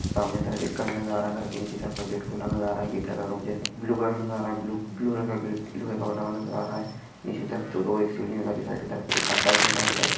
सामने कि तरफ एक घर नज़र आ रहा है घर के निचे से गेट खुला हुआ नज़र आ रहा है गेट का मुझे ब्लू कलर नज़र आ रहा है ब्लू ब्लू रंग का गेट नज़र आ रहा है निचे कि तरफ दो दो एक सीढि नज़र आ रही है साईड के तरफ एकाद बाइक नज़र आरही है बाइक --